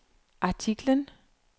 artiklen